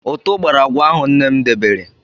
Ụtụ̀ gbara agwa ahụ nne m debere.